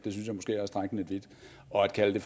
lidt vidt og at kalde